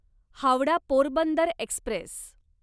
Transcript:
Howrah Porbandar Express